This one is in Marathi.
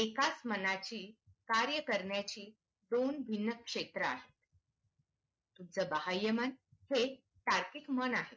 एकाच मनाची कार्य करण्याची दोन भिन्न क्षेत्र आहेत तुमचं बाहय मन हे तुमच्या बाह्यमन साथिक मन आहे